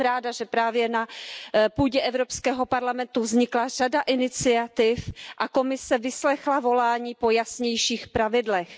Jsem ráda, že právě na půdě Evropského parlamentu vznikla řada iniciativ a Komise vyslechla volání po jasnějších pravidlech.